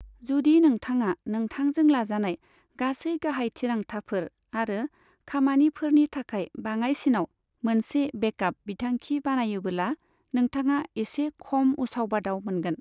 जुदि नोंथाङा नोंथांजों लाजानाय गासै गाहाय थिरांथाफोर आरो खामानिफोरनि थाखाय बाङायसिनाव मोनसे बेकआप बिथांखि बानायोबोला नोंथाङा एसे खम उसाव बादाव मोनगोन।